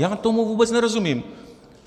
Já tomu vůbec nerozumím.